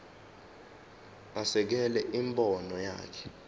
asekele imibono yakhe